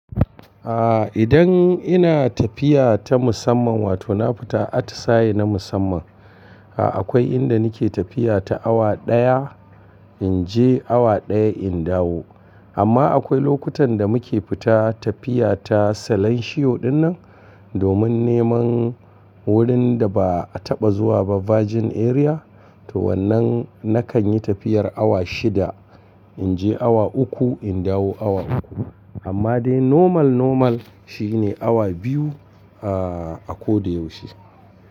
Aa, idan ina tafiya ta musamman wato na fita atsaye na musamman. Aa akwai inda nike tafiya ta awa ɗaya inje awa ɗaya in dawo. Amma akwai lokutan da muke fita tafiya ta salon shiyo dinnan domin neman wurin da ba'a taɓa zuwa ba virgin area to wannan nakan yi tafiyar awa shida inje awa uku in dawo awa uku. Amma dai normal normal shine awa biyu aa a ko da yaushe.